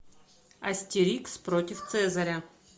астерикс против цезаря